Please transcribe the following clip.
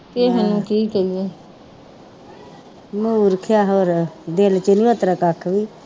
ਕਿ ਕਹੀਏ ਮੂਰਖ ਯਾ ਹੋਰ ਨੀ ਦਿਲ ਚ ਨੀ ਉਤਰਾ ਕੱਖ ਵੀ